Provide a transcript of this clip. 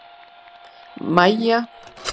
Mæja gleymir sér eitt augnablik og flissar.